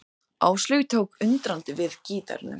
Áslaug tók undrandi við gítarnum.